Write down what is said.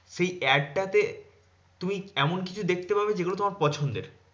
সেই ad টা তে তুমি এমন কিছু দেখতে পাবে, যেগুলো তোমার পছন্দের।